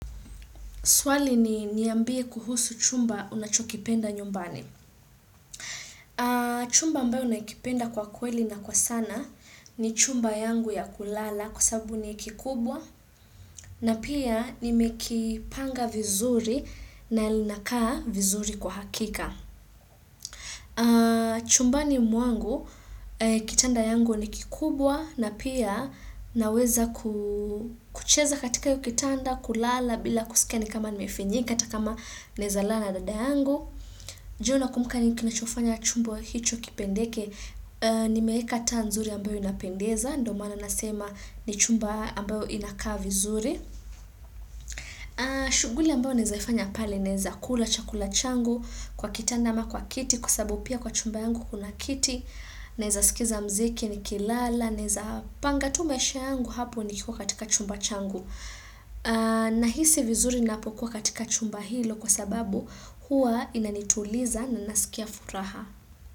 Swali ni niambie kuhusu chumba unachokipenda nyumbani. Chumba ambayo nakipenda kwa kweli na kwa sana ni chumba yangu ya kulala kwa sababu ni kikubwa na pia nimekipanga vizuri na lilinakaa vizuri kwa hakika. Chumbani mwangu, kitanda yangu ni kikubwa na pia naweza kucheza katika kitanda, kulala bila kusikia ni kama nimefinyika hata kama naeza lala na dada yangu Ju nakumbuka ni nini kinachofanya chumba hicho kipendeke, nimeweka taa nzuri ambayo inapendeza, ndo mana nasema ni chumba ambayo inakaa vizuri shughuli ambayo naezaifanya pale naeza kula chakula changu kwa kitanda ama kwa kiti kwa sababu pia kwa chumba yangu kuna kiti Naeza sikiza mziki nikilala naeza panga tu maisha yangu hapo nikiwa katika chumba changu Nahisi vizuri ninapokuwa katika chumba hilo kwa sababu huwa inanituliza na nasikia furaha.